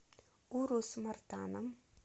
урус мартаном